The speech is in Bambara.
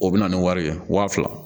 O bɛ na ni wari ye waa fila